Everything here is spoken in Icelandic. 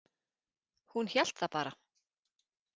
Hún hélt það bara.